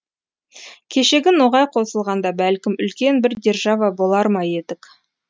кешегі ноғай қосылғанда бәлкім үлкен бір держава болар ма едік